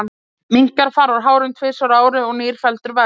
Minkar fara úr hárum tvisvar á ári og nýr feldur vex.